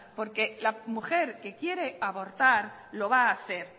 porque la mujer que quiere abortar lo va a hacer